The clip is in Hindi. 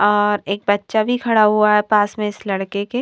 और एक बच्चा भी खड़ा हुआ है पास में इस लड़के के--